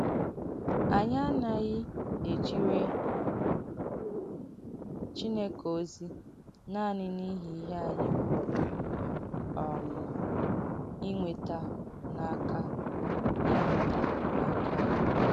Ànyị ánaghị ejìrè Chìnèkè ozí nanị n’ìhị ihe ànyị pùrụ̀ um ìnweta n’aka ìnweta n’aka ya.